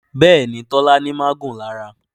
Béèni Tola ní magun lára.